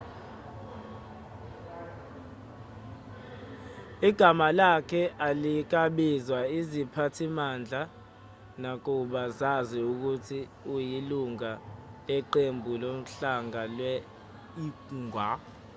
igama lakhe alikaziwa iziphathimandla nakuba zazi ukuthi uyilungu leqembu lohlanga lwe-uighur